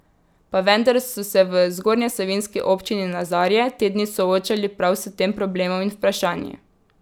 Pa vendar so se v zgornjesavinjski občini Nazarje te dni soočali prav s tem problemom in vprašanji.